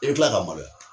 I bɛ tila ka maloya